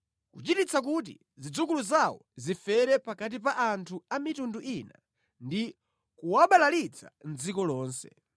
kuchititsa kuti zidzukulu zawo zifere pakati pa anthu a mitundu ina ndi kuwabalalitsa mʼdziko lonse.